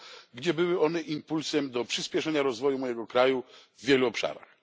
Polska, gdzie były one impulsem do przyspieszenia rozwoju mojego kraju w wielu obszarach.